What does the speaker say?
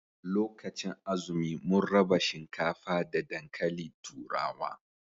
Lokacin azumi mun raba shinkafa da dankalin turawa